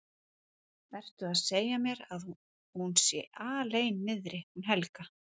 Ertu að segja mér að hún sé alein niðri hún Helga?